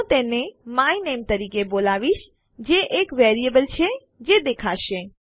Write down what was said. હું તેને my name તરીકે બોલાવીશ જે એક વેરીએબલ છે જે દેખાશે